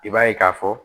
I b'a ye k'a fɔ